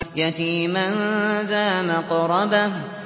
يَتِيمًا ذَا مَقْرَبَةٍ